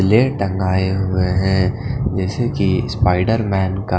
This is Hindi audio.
लेय ढंगाए हुए हैं जैसे कि स्पाइडर मैन का --